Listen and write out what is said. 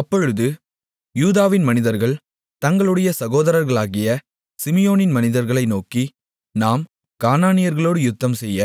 அப்பொழுது யூதாவின் மனிதர்கள் தங்களுடைய சகோதரர்களாகிய சிமியோனின் மனிதர்களை நோக்கி நாம் கானானியர்களோடு யுத்தம்செய்ய